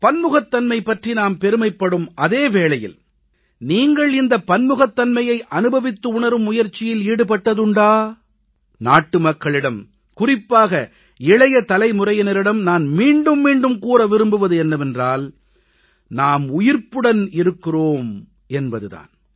பன்முகத்தன்மை பற்றி நாம் பெருமைப்படும் அதே வேளையில் நீங்கள் இந்தப் பன்முகத்தன்மையை அனுபவித்து உணரும் முயற்சியில் ஈடுபட்டதுண்டா நாட்டு மக்களிடம் குறிப்பாக இளைய தலைமுறையினரிடம் நான் மீண்டும் மீண்டும் கூற விரும்புவது என்னவென்றால் நாம் உயிர்ப்புடன் இருக்கிறோம் என்பது தான்